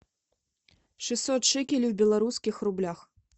шестьсот шекелей в белорусских рублях